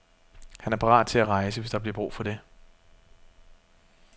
Han er parat til at rejse, hvis der bliver brug for det.